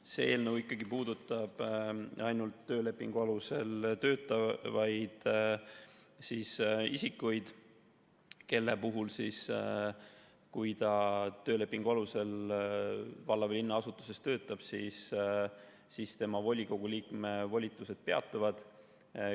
See eelnõu ikkagi puudutab ainult töölepingu alusel töötavaid isikuid, kelle puhul siis, kui nad töölepingu alusel valla või linna asutuses töötavad, volikogu liikme volitused peatuvad.